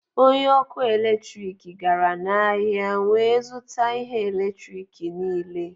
Onye ọkụ eletrik gara n'ahịa wee zụta ihe eletrik niile